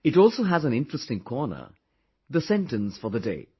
It also has an interesting corner The sentence for the day